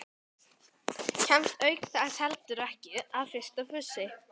Kemst auk þess heldur ekki að fyrir fussi